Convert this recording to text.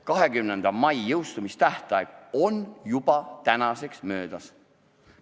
20. mai, jõustumistähtaeg, on tänaseks juba möödas.